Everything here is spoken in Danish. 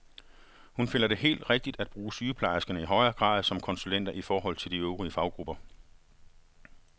Hun finder det helt rigtigt at bruge sygeplejerskerne i højere grad som konsulenter i forhold til de øvrige faggrupper.